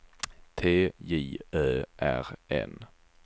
T J Ö R N